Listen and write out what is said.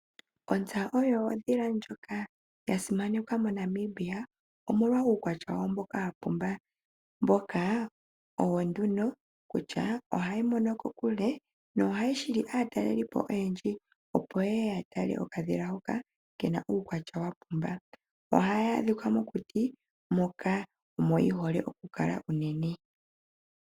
Ontsa oyo ondhila ndjoka ya simanekwa moNamibia omolwa uukwatya wayo mboka wa pumba. Mboka owo nduno kutya ohayi mono kokule yo ohayi hili aatalelipo oyendji opo yeye ya tale okadhila hoka kena uukwatya wa pumba. Ohayi adhika mokuti moka omo yi hole oku kala unene.